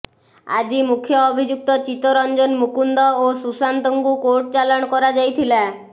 ଆଜି ମୁଖ୍ୟ ଅଭିଯୁକ୍ତ ଚିତ୍ତରଂନ ମୁକୁନ୍ଦ ଓ ସୁଶାନ୍ତଙ୍କୁ କୋର୍ଟ ଚାଲାଣ କରାଯାଇଥିଲା